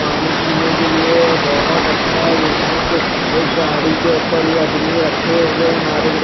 पानी पिने के लिए ये बहोत अच्छा यहा पे एक गाड़ी के उपर ये आदमी रखे हुए है नारियल को।